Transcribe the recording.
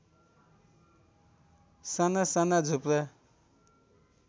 साना साना झुप्रा